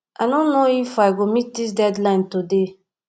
i no know if i go fit meet dis deadline today